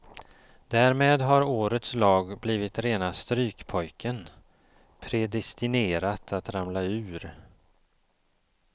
Därmed har årets lag blivit rena strykpojken, predestinerat att ramla ur.